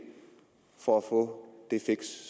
for at få det fix